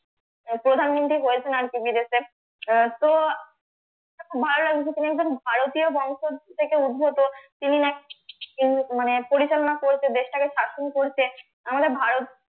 আহ প্রধানমন্ত্রী হয়েছেন আর কি বিদেশে আহ তো খুব ভালো লাগছে তিনি একজন ভারতীয় বংশ থেকে উদ্ভূত তিনি নাকি মানে পরিচালনা করেছে দেশটাকে শাসন করছে আমাদের ভারত